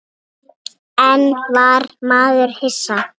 En var maður hissa?